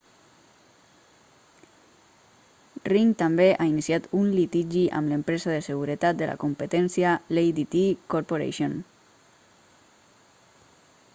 ring també ha iniciat un litigi amb l'empresa de seguretat de la competència l'adt corporation